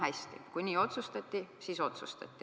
Hästi, kui nii otsustati, siis otsustati.